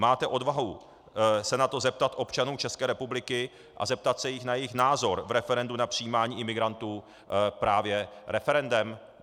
Máte odvahu se na to zeptat občanů České republiky a zeptat se jich na jejich názor v referendu na přijímání imigrantů právě referendem?